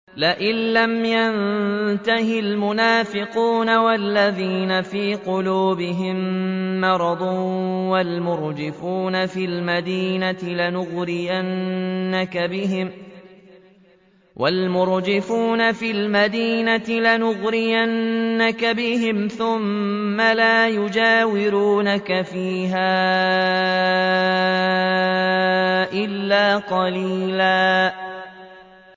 ۞ لَّئِن لَّمْ يَنتَهِ الْمُنَافِقُونَ وَالَّذِينَ فِي قُلُوبِهِم مَّرَضٌ وَالْمُرْجِفُونَ فِي الْمَدِينَةِ لَنُغْرِيَنَّكَ بِهِمْ ثُمَّ لَا يُجَاوِرُونَكَ فِيهَا إِلَّا قَلِيلًا